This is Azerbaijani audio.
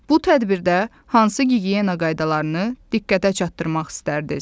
Bu tədbirdə hansı gigiyena qaydalarını diqqətə çatdırmaq istərdiniz?